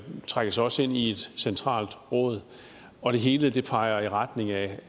trækkes også ind i et centralt råd og det hele peger i retning af